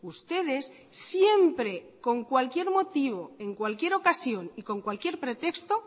ustedes siempre con cualquier motivo en cualquier ocasión y con cualquier pretexto